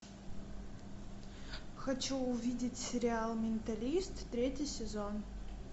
хочу увидеть сериал менталист третий сезон